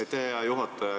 Aitäh, hea juhataja!